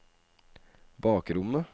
bakrommet